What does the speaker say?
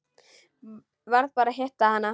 Varð bara að hitta hana.